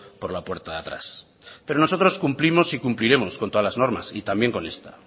por la puerta de atrás pero nosotros cumplimos y cumpliremos con todas las normas y también con esta